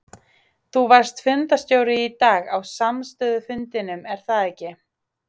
Þú varst fundarstjóri í dag á samstöðufundinum er það ekki?